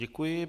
Děkuji.